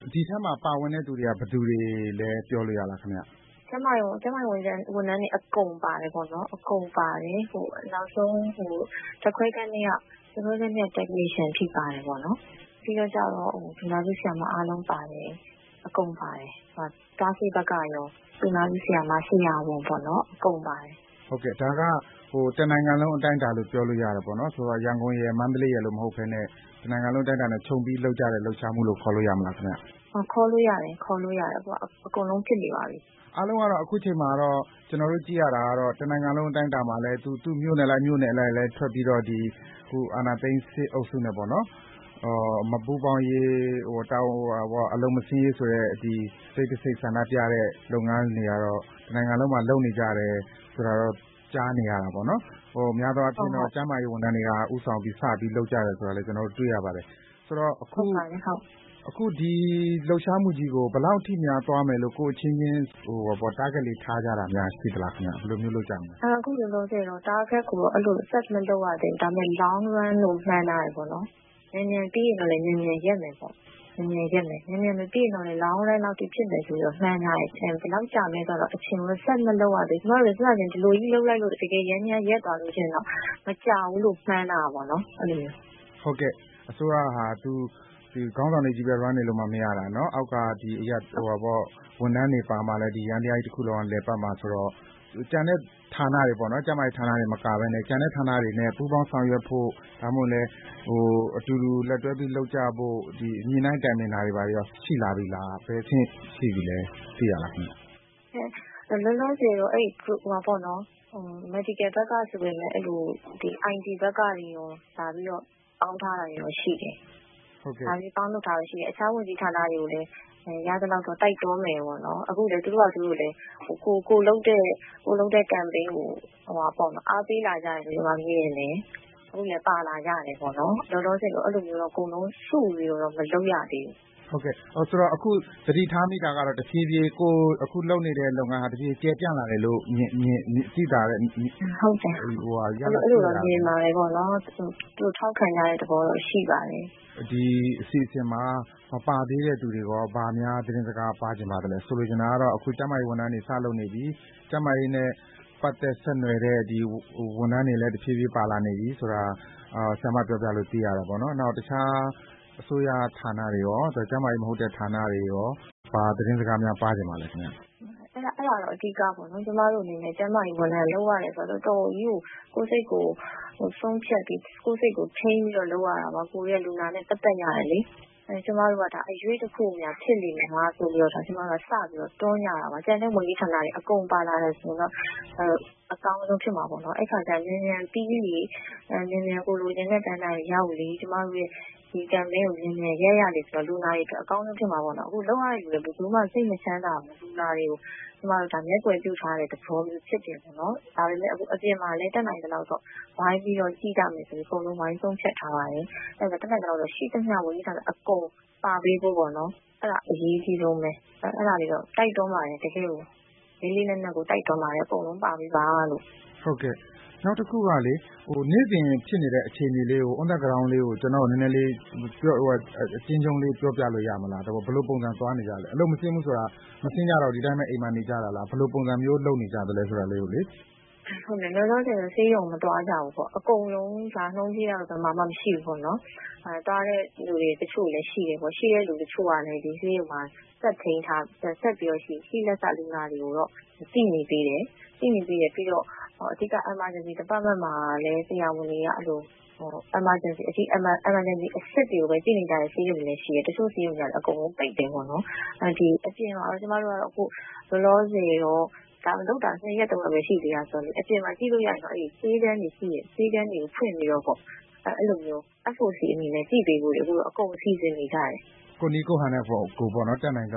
ဒီအထဲမှာ ပါဝင်တဲ့သူတွေက ဘယ်သူတွေလဲ ပြောလို့ရလားခင်ဗျ။ ကျန်းမာရေးဝန်ထမ်းတွေ အကုန်ပါတယ်ပေါ့နော်။ နောက်ဆုံး ဓါတ်ခွဲခန်းထဲက Technician အထိပါတယ်ပေါေ့နာ်။ ပြီးတော့ သူနာပြုဆရာမ အားလုံးပါတယ်။ အကုန်ပါတယ်။ သွားဆေးဘက်ကရော၊ သူနာပြုဆရာမ၊ ဆရာဝန်ပေါ့နော် အကုန်ပါတယ်။ ဟုတ်ကဲ့ ဒါက တနိုင်ငံလုံးအတိုင်းအတာလို့ ပြောလို့ရတယ်ပေါ့နော်။ ရန်ကုန်ရယ်၊ မန္တလေးရယ်လို့ မဟုတ်ပဲနဲ့ တနိုင်ငံလုံးအတိုင်းအတာနဲ့ ခြုံပြီးလုပ်ကြတဲ့ လှုပ်ရှားမှုလို့ ခေါ်လို့ရတာပေါ့နော်။ ဟုတ်ခေါ်လို့ရတယ်။ အခုက အကုန်လုံးဖြစ်နေပါပြီ။ အားလုံးကတော့ အခုချိန်မှာတော့ ကျနော်တို့ကြည့်ရတာကတော့ တနိုင်ငံလုံးအတိုင်းအတာမှာလည်း သူ့မြို့နယ်လိုက်၊ မြို့နယ်လိုက် ထွက်ပြီးတော့ အခုအာဏာသိမ်း စစ်အုပ်စုနဲ့ပေါေ့နာ် မပူးပေါင်းရေး ၊ အလုပ်မဆင်းရေးဆိုတဲ့ တိတ်တဆိတ်ဆန္ဒပြတာတွေကတော့ တနိုင်ငံလုံးမှာ လုပ်နေကြတယ် ဆိုတာတော့ ကြားနေရတာပေါ့နော်။ များသောအားဖြင့်တော့ ကျန်းမာရေးဝန်ထမ်းတွေက ဦးဆောင်ပြီး စပြီးလုပ်နေတယ်ဆိုတာလည်း ကျနော်တို့ တွေ့နေရပါတယ်။ ဆိုတော့ အခုဒီ လှုပ်ရှားမှုကြီးကို ဘယ်လောက်အထိသွားမယ်လို့ ကိုယ့်အချင်းချင်း Target လေးထားကြတာများ ရှိသလား။ အခုလောလောဆည်တော့ Target ကိုတော့ set မလုပ်ရသေးဘူး။ ဒါပေမယ့် Long run လို့ မှန်းထားတယ်ပေါ့နော်။ မြန်မြန်ပြီးရင်တော့ မြန်မြန်ရပ်မယ်ပေါ့။ မြန်မြန်မပြီးရင်တော့ Long run လောက်အထိ ဖြစ်မယ်လို့ မှန်းထားပါတယ်ရှင့်။ ဘယ်လောက်ကြာမယ်ဆိုတာတော့ အချိန်ကိုတော့ set မလုပ်ရသေးဘူး။ ကျမတို့လည်း စစချင်း ဒီလိုကြီးလုပ်လိုက်လို့ တကယ်ယန္တရားရပ်သွားရင်တော့ မကြာဘူးလို့ မှန်းတာပေါ့နော် ဟုတ်ကဲ့ အစိုးရက ခေါင်းဆောင်တွေကြီးပဲ Run လို့မရတာ ၊ အောက်က ဝန်ထမ်းတွေပါမှ ဒီ ယန္တရားကြီးတခုလုံးက လည်ပတ်မှာဆိုတော့ ကျန်တဲ့ ဌာနတွေပေါ့နော်၊ ကျန်းမာရေးဌာနတွေမကပဲနဲ့ ကျန်တဲ့ ဌာနတွေနဲ့ ပူးပေါင်းဆောင်ရွက်ဖို့ ၊ ဒါမှမဟုတ်ရင်လည်း အတူတူလက်တွဲပြီး လုပ်ကြဖို့ ညှိနှိုင်းတိုင်ပင်တာတွေရော ရှိလား ဘယ်အဆင့်ရှိပြီလဲ။ လောလောဆည်တော့ အဲဒီ Medical ဘက်ကဆိုရင် IT ဘက်ကတွေရော လာပြီးတော့ ပေါင်းထားတာတွေရှိတယ်။ အခြားဝန်ကြီးဌာနတွေကိုလည်း ရသလောက်တော့ တိုက်တွန်းနေတယ်ပေါ့နော်။ အခုဆိုရင် သူတို့ဟာသူတို့လည်း ကိုယ်လုပ်တဲ့ Campaign ကို အားပေးလာကြတယ်လို့ ကျမမြင်တယ်။ သူတို့လည်း ပါလာကြတယ်ပေါ့နော်။ လောလောဆည်တော့ အခု အကုန်လုံးစုပြီးတော့ မလုပ်ရသေးဘူးပေါ့နော်။ အခုသတိထားမိတာက တဖြေးဖြေး အခု ကိုယ်လုပ်နေတဲ့ လုပ်ငန်းက ကျယ်ပြန့်လာတယ်လို့ သိသာတဲ့ ရလဒ်တွေ ထွက်လာသလား။ အဲလိုတော့ မြင်ပါတယ်ပေါ့နော်။ ထောက်ခံကြတဲ့ သဘောတော့ရှိပါတယ်။ ဒီအစီအစဉ်မှာ မပါသေးတဲ့သူတွေကို ဘာများ သတင်းစကားပါးချင်ပါသလဲ။ ဆိုလိုချင်တာကတော့အခု ကျန်းမာရေး ဝန်ထမ်းတွေ စလုပ်နေပြီ ကျန်းမာရေးနဲ့ ပတ်သက်ဆက်နွယ်တဲ့ ဝန်ထမ်းတွေလည်း တဖြေးဖြေးပါလာနေပြီဆိုတာ ဆရာမ ပြောပြလို့ သိရတာပေါ့နော်။ တခြားအစိုးရဌာနတွေ ရော ကျန်းမာရေးမဟုတ်တဲ့ ဌာနတွေကိုရော ဘာသတင်းစကားပါးချင်ပါသလဲ။ အဲဒါတော့ အဓိကပေါ့နော် ကျမတို့အနေနဲ့ ကျန်းမာရေးဝန်ထမ်းလုပ်ရတယ်ဆိုတာ တော်တော်ကြီးကို စိတ်ကိုဆုံးဖြတ်ပြီး၊ ကိုယ့်စိတ်ကိုထိန်းပြီး လုပ်ရတာပါ။ ကိုယ်က လူနာနဲ့ ပတ်သက်ရတာလေ။ ကျမတို့က ဒါအရွှေ့တခုများ ဖြစ်နေမလားဆိုပြီးတော့ စပြီးတော့ တွန်းကြတာပါ ။ ကျန်တဲ့ ဝန်ကြီးဌာနတွေ အကုန်ပါလာတယ်ဆိုရင်တော့ အကောင်းဆုံးဖြစ်မှာပေါ့နော် အဲဒီအခါကျရင် မြန်မြန်ပြီးပြီး ကိုယ်လိုချင်တဲ့ပန်းတိုင်တွေကို မြန်မြန်ရောက်လေ ကျမတို့ရဲ့ ဒီ campaign ကို မြန်မြန်ရပ်ရင် လူနာတွေအတွက်အကောင်းဆုံးဖြစ်မှာပေါ့နော်။ အခုလုပ်ရတဲ့ လူတွေ ဘယ်သူမှ စိတ်မချမ်းသာဘူး လူနာတွေကို ကျမတို့ မျက်ကွယ်ပြုထားတဲ့ သဘောမျိုးဖြစ်တယ်။ ဒါပေမယ့် အပြင်မှာလည်း တတ်နိုင်သလောက်တော့ ဝိုင်းပြီးတော့ ကြည့်ကြမယ်လို့ အကုန်လုံး ဆုံးဖြတ်ထားပါတယ်။ တတ်နိုင်သလောက်တော့ ရှိသမျှ ဝန်ကြီးဌာနတို့အကုန် ပါပေးဖို့ပေါ့နော် အဲဒါအရေးကြီးဆုံးပဲ တိုက်တွန်းပါတယ်။ တကယ့်ကို လေးလေးနက်နက် တိုက်တွန်းပါတယ် အကုန်လုံးပါပေးပါလို့။ ဟုတ်ကဲ့ နောက်တခုကလေ နေ့စဉ်ဖြစ်နေတဲ့ အခြေအနေလေး On the ground လေးကို ကျနော့်ကို နည်းနည်းလေး အကျဉ်းချုံးလေး ပြောပြလို့ ရမလား ၊ ဘယ်လိုပုံစံ သွားနေကြသလဲ အလုပ်မဆင်းဘူးဆိုတာ မဆင်တော့ဘူး ဒီအတိုင်းပဲ အိမ်မှာနေကြတာလား ။ ဘယ်လိုပုံစံမျိုးလုပ်နေကြသလဲဆိုတာကိုလေ။ လောလောဆည်တော့ ဆေးရုံမသွားကြဘူးပေါ့။ အကုန်လုံး ရာနှုန်းပြည့်ကတော့ ဘယ်မှာမှ မရှိဘူးပေါ့နော်။ သွားတဲ့လူတချို့လည်းရှိတယ်။ ရှိတဲ့လူ တချို့ကလည်း ဆေးရုံမှာ ရှိလက်စ လူနာတွေတော့ ကြည့်နေသေးတယ်။ အဓိက Emergency department မှာလည်း ဆရာဝန်တွေက Emergency အဆင့်တွေကိုပဲ ကြည့်နေတဲ့ ဆေးရုံတွေရှိတယ်။ တချို့ ဆေးရုံတွေကတော့ အကုန်ပိတ်တယ်ပေါ့နော်။ အပြင်မှာ ကျမတို့ လောလောဆည်တော့ လုပ်တာ ၂ ရက် ၃ ရက်ပဲ ရှိသေးတာဆိုတော့ အပြင်မှာ ကြည့်လို့ရရင်တော့ ဆေးခန်းတွေရှိတယ် အဲဒီဆေးခန်းတွေဖွင့်ပြီးတော့ကြည့်ပေးဖို့ စီစဉ်နေကြတယ်။ ကိုယ့်နည်းကိုယ့်ဟန်နဲ့ကိုယ်ပေါ့နော် တတ်နိုင်သ